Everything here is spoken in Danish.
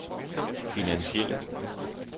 finansielle